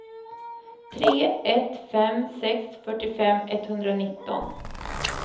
tre ett fem sex fyrtiofem etthundranitton